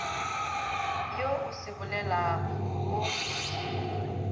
wo o se bolelago o